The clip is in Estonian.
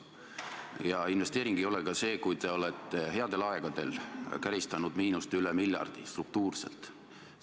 Ja investeering ei ole ka see, kui te olete headel aegadel käristanud miinust üle miljardi, struktuurselt.